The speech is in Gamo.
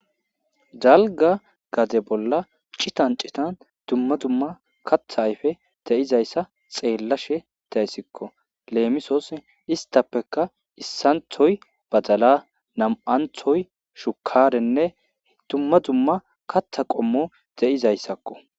Dalga gaze bolla citan citan dumma dumma katha ayfe de7izayssa xeellashe tayssikko leemisooss istappeka issanthoy badala nam7anthoy shukarenne dumma dumma katha qommo de'izayssakko.